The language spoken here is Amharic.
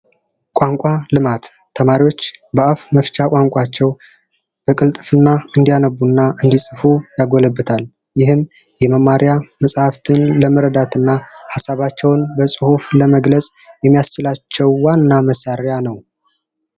ቋንቋ ልማት ተማሪዎች በአፍ መፍቻ ቋንቋቸው በቅልጥፍና እንዲያነቡና እንዲጽፉ ያጎለብታል፤ ይህም የመማሪያ መጽሐፍትን ለመረዳትና ሀሳባቸውን በጽሁፍ ለመግለጽ እንዲችሉ የሚያስችላቸው ዋና መሳሪያ ነው።